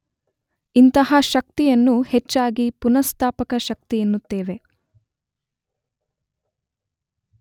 ಇಂತಹ ಶಕ್ತಿಯನ್ನು ಹೆಚ್ಚಾಗಿ ಪುನಃಸ್ಥಾಪಕ ಶಕ್ತಿ ಎನ್ನುತ್ತೇವೆ.